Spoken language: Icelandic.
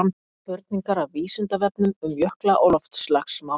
spurningar af vísindavefnum um jökla og loftslagsmál